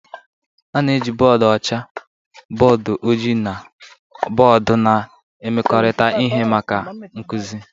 A na-eji bọọdụ ọcha, bọọdụ ojii na bọọdụ na-emekọrịta ihe maka nkuzi.